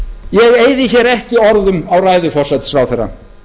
ég eyði hér ekki orðum á ræðu forsætisráðherra